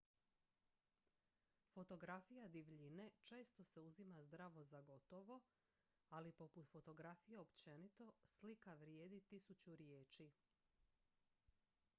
fotografija divljine često se uzima zdravo za gotovo ali poput fotografije općenito slika vrijedi tisuću riječi